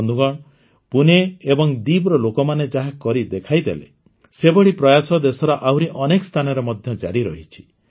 ବନ୍ଧୁଗଣ ପୁନେ ଏବଂ ଦୀବ୍ର ଲୋକମାନେ ଯାହା କରିଦେଖାଇଲେ ସେଭଳି ପ୍ରୟାସ ଦେଶର ଆହୁରି ଅନେକ ସ୍ଥାନରେ ମଧ୍ୟ ଜାରି ରହିଛି